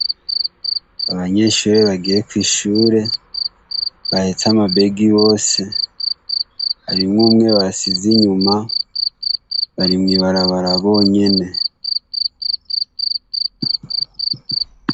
Abanyeshure bagiye kw'ishure bahetse amabegi yose, harimwo umwe basize inyuma, bari mw'ibarabara bonyene.